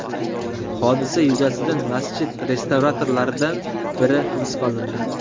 Hodisa yuzasidan masjid restavratorlaridan biri hibsga olindi.